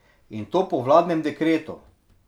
In to po vladnem dekretu.